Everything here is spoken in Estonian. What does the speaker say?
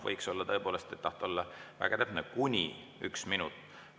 Võiks olla tõepoolest, kui tahta olla väga täpne, kuni üks minut.